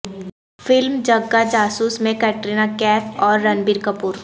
film Jagga Jasoos میں قطرینہ کیف اور رنبیر کپور